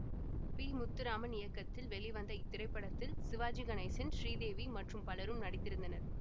B Muthuraman இயக்கத்தில் வெளிவந்த இத்திரைப்படத்தில் சிவாஜி கணேசன் ஸ்ரீதேவி மற்றும் பலரும் நடித்திருந்தனர்